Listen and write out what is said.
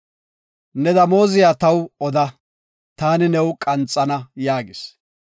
Ne damooziya taw oda, taani new qanxana” yaagis.